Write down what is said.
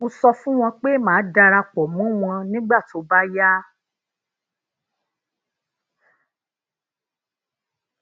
mo sọ fún wọn pé màá dara pò mó wọn nígbà tó bá yá